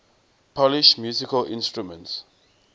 polish musical instruments